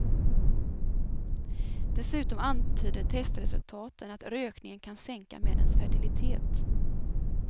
Dessutom antyder testresultaten att rökningen kan sänka männens fertilitet.